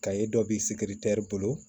dɔ b'i bolo